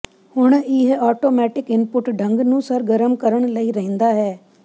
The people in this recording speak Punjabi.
ਹੁਣ ਇਹ ਆਟੋਮੈਟਿਕ ਇੰਪੁੱਟ ਢੰਗ ਨੂੰ ਸਰਗਰਮ ਕਰਨ ਲਈ ਰਹਿੰਦਾ ਹੈ